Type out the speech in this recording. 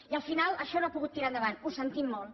i al final això no ha pogut tirar endavant ho sentim molt